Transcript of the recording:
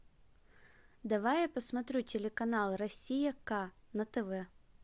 давай я посмотрю телеканал россия к на тв